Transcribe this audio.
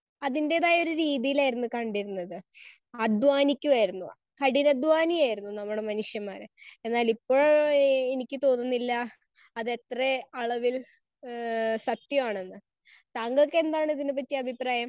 Speaker 1 അതിൻറെതായ ഒരു രീതിയിലായിരുന്നു കണ്ടിരുന്നത്. അധ്വാനിക്കുവായിരുന്നു, കഠിനാധ്വാനി ആയിരുന്നു നമ്മുടെ മനുഷ്യന്മാര്. എന്നാലിപ്പോ എനിക്ക് തോന്നുന്നില്ല അതെത്ര അളവിൽ ഏഹ് സത്യമാണെന്ന്. താങ്കൾക്കെന്താണ് ഇതിനെപ്പറ്റി അഭിപ്രായം?